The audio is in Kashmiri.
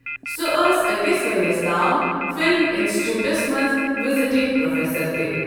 سۄ ٲس ٲکِس ؤرۍ یَس تام فلم انسٹیٹیوٹس منٛز وزٹنگ پروفیسر تہٕ۔